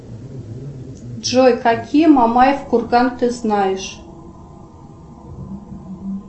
джой какие мамаев курган ты знаешь